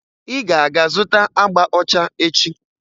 Ị ga-aga zụta agba ọcha echi!